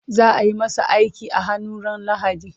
Za ayi masa aiki a hannu ran lahadi